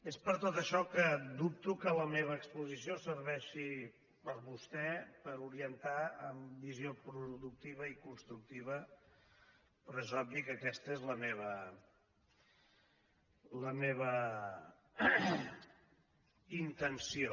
és per tot això que dubto que la meva exposició servei·xi per vostè per orientar amb visió productiva i cons·tructiva però és obvi que aquesta és la meva intenció